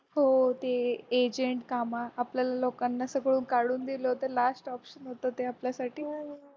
हो ते agent काम आपल्या लोकांना सगळं काढून दिल होत last option होतं ते आपल्यासाठी